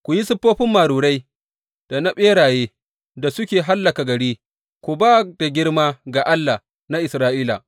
Ku yi siffofin marurai da na ɓeraye da suke hallaka gari, ku ba da girma ga Allah na Isra’ila.